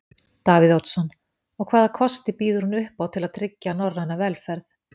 Davíð Oddsson: Og hvaða kosti býður hún upp á til að tryggja norræna velferð?